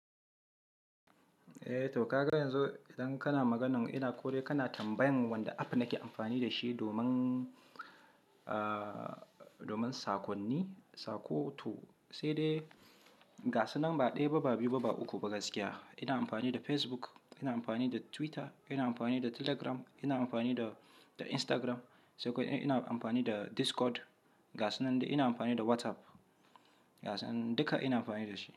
Eh to ka ga yanzu idan kana maganan ina ko dai kana tambayan wanda app nake amfani da shi domin, domin sakonni, saƙo to sai dai gasu nan ba ɗaya ba, ba biyu ba, ba uku ba gaskiya ina amfani da Facebook, ina amfani da Twitter, ina amfani da Telegram, ina amfani da, da Instagram, sai kuma ina amfani da Discord, gasu nan dai ina amfani da WhatsApp, ga sannan duka ina amfani da shi.